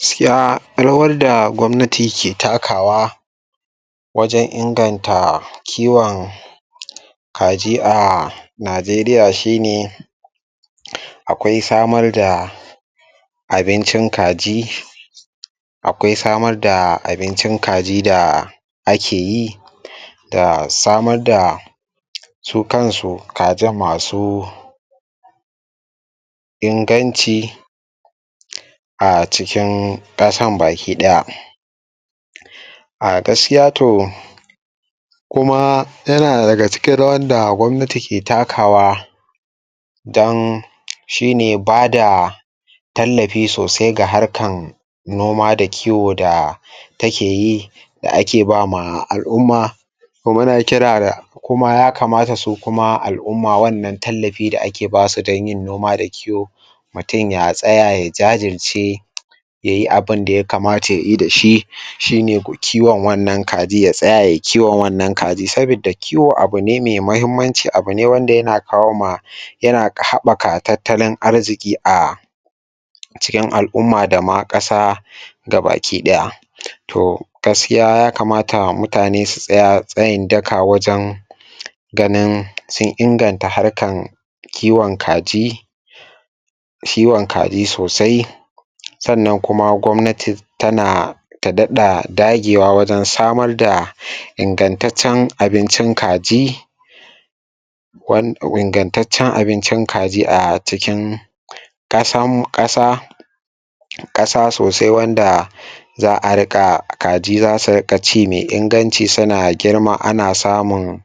Gaskiya rawan da gwamnati ke takawa wajen inganata kiwon kaji a Najeriya shi ne akwai samarda abincin kaji akwai samar da abincin kaji da ake yi da samar da su kansu kajin masu inganci a cikin ƙasan baki ɗaya. A gaskiya to kuma yana dag cikin rawar da gwamnati ke takawa dan shi ne ba da Tallafi sosai ga harkar noma da kiwo da take yi da ake ba ma al'umma to muna kira ga kuma yakamata su kuma al'umma wanna tallafi da a ke ba su don yin noma da kiwo mutum ya tsaya ya jajirce ya yi abin da yakamata ya yi da shi shi ne ko kiwon wannan ka ji ya tsaya yai kiwon wannan kaji sabidda kiwo abu ne mai muhimmanci a bu ne da yana kawo ma yana haɓaka tattalin arziƙi a cikin al'umma da ma ƙasa baki ɗaya to gaskiya ya kamata mutane su tsaya tsayin daka wajen ganin sun inganta harkan kiwon kaji kiwon kaji sosai sannan kuma gwamnati ta na ta daɗa dagewa wajen samar da ingantaccen abincin kaji ingantaccen abincin kaji a cikin ƙasanmu ƙasa ƙasa sosai wanda za a kaji za su a riƙa kaji za su ci mai inganci ana samun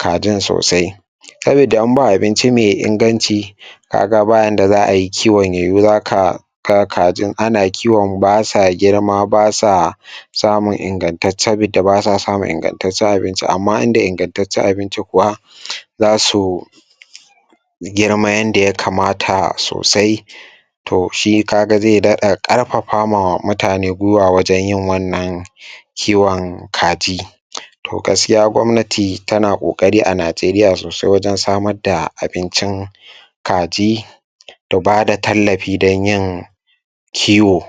kajin sosai sabidda in ba abincin mai inganci ka ga ba yanda za ai kiwon ya yiwu za ka ka ga kajin ana kiwon ba su girma ba sa samun ingantaccen ba sa samun ingantaccen abinci amma in da ingantaccen abinci kuwa za su girma yanda ya kamata sosai to shi ka ga zai daɗa ƙarfafawa mutane guiwa wajen yin wannan kiwon kaji to gaskiya gwamnati tan ƙoƙari a Najeriya sosai wajen samar da bincin kaji da bada tallafi don yin kiwo